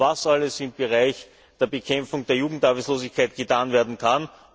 was alles im Bereich der Bekämpfung der Jugendarbeitslosigkeit getan werden kann.